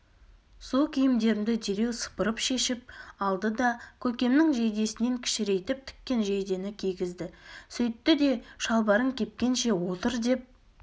су киімдерімді дереу сыпырып шешіп алды да көкемнің жейдесінен кішірейтіп тіккен жейдені кигізді сөйтті де шалбарың кепкенше отырдеп